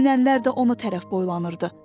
Sürünənlər də ona tərəf boylanırdı.